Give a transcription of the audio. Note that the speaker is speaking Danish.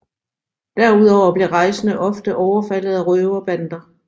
Derudover blev rejsende ofte overfaldet af røverbander